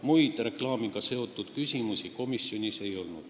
Muid reklaamiga seotud küsimusi komisjonis ei tõstatatud.